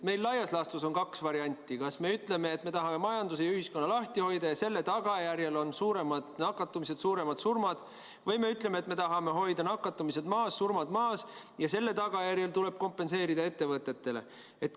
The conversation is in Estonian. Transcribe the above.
Meil laias laastus on kaks varianti: kas me ütleme, et me tahame majanduse ja ühiskonna lahti hoida, ning selle tagajärjel on suuremad nakatumisarvud ja rohkemad surmad, või me ütleme, et me tahame hoida nakatumisnäitaja maas, surmad maas, ja selle tagajärjed tuleb kompenseerida ettevõtetele.